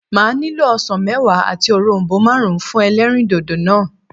Màá nílò osàn méwàá àti òronbó máàrún fún elérìndòdò náà